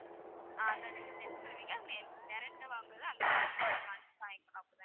ஆஹ் அதை நீங்க send பண்ணுவீங்க direct டா வாங்குறது அங்க வந்து வாங்கிக்கணும் அப்படிதானே ma'am